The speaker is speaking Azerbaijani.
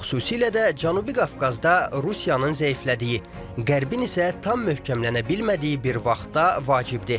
Bu xüsusilə də Cənubi Qafqazda Rusiyanın zəiflədiyi, Qərbin isə tam möhkəmlənə bilmədiyi bir vaxtda vacibdir.